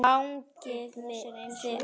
Þú brosir einsog engill.